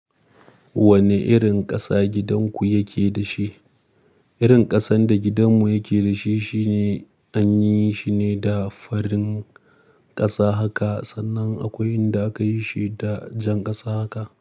Wane irin ƙasa gidan ku yake da shi? Irin ƙasan da gidanmu yake da shi shine an yi shi ne da farin ƙasa haka sannan akwai inda aka yi shi da jan ƙasa haka.